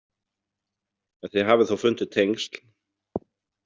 En þið hafið þó fundið tengsl?